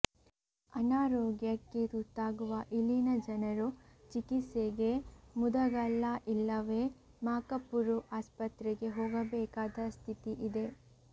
ಅನಾರೋಗ್ಯಕ್ಕೆ ತುತ್ತಾಗುವ ಇಲ್ಲಿನ ಜನರು ಚಿಕಿತ್ಸೆಗೆ ಮುದಗಲ್ಲ ಇಲ್ಲವೇ ಮಾಕಪುರು ಆಸ್ಪತ್ರೆಗೆ ಹೋಗಬೇಕಾದ ಸ್ಥಿತಿ ಇದೆ